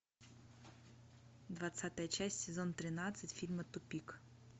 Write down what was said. двадцатая часть сезон тринадцать фильма тупик